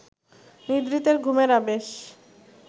নিদ্রিতের ঘুমের আবেশ